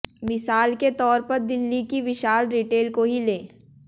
मिसाल के तौर पर दिल्ली की विशाल रिटेल को ही लें